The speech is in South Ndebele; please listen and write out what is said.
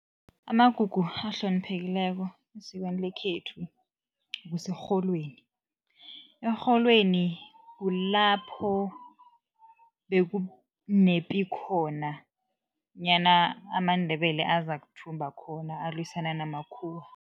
Amagugu ahloniphekileko esikweni lekhethu kuserholweni. Erholweni kulapho bekunepi khona nyana amaNdebele azakuthumba khona alwisana namakhuwa.